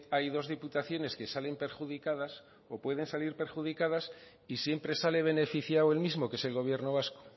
hay dos diputaciones que salen perjudicadas o pueden salir perjudicadas y siempre sale beneficiado el mismo que es el gobierno vasco